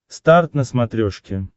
старт на смотрешке